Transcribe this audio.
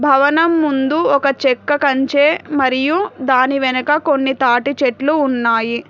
భవనం ముందు ఒక చెక్క కంచె మరియు దాని వెనక కొన్ని తాటి చెట్లు ఉన్నాయి.